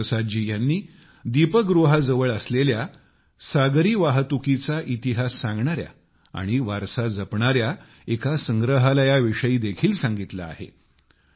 गुरु प्रसाद जी ह्यांनी दीपगृहाजवळ असलेल्या सागरी सुचालनाचा इतिहास सांगणाऱ्या व वारसा जपणाऱ्या एका संग्रहालयाविषयी देखील सांगितले आहे